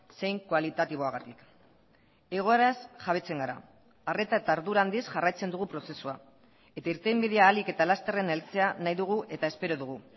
zein kualitatiboagatik egoeraz jabetzen gara arreta eta ardura handiz jarraitzen dugu prozesua eta irtenbidea ahalik eta lasterren heltzea nahi dugu eta espero dugu